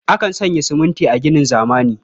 Akan sanya siminti a ginin zamani.